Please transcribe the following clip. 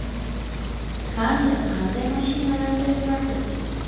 Kante qanday mashinalarda yuradi?